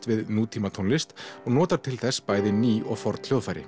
við nútímatónlist og notar til þess bæði ný og forn hljóðfæri